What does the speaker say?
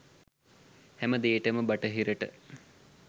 හැමදේටම බටහිරට